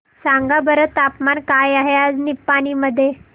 सांगा बरं तापमान काय आहे आज निपाणी मध्ये